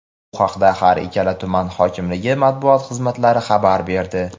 Bu haqda har ikkala tuman hokimligi Matbuot xizmatlari xabar berdi.